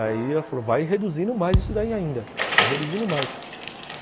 Aí ela falou, vai reduzindo mais isso daí ainda, vai reduzindo mais.